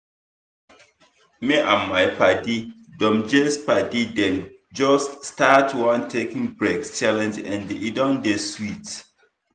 me and my padi dem just padi dem just start one taking breaks challenge and e don dey sweet.